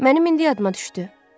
Mənim indi yadıma düşdü.